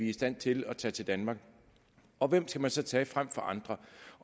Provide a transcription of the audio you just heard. i stand til at tage til danmark og hvem skal man så tage frem for andre